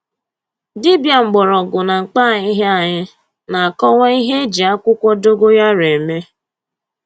Dibịa mgbọrọgwụ na mkpa ahịhịa anyị na-akọwa ihe e ji akwụkwọ dogoyaro eme